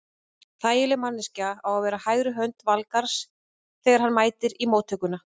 Þægileg manneskja á að vera hægri hönd Valgarðs þegar hann mætir í móttökuna.